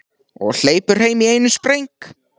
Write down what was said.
Og hleypur heim í einum spreng.